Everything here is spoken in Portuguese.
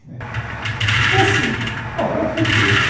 Né. Então, assim, bom, ela foi feita.